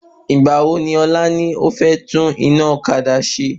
Ìgbà wo ni ọ̀la ni o fẹ́ tún iná ọ̀kadà ṣe?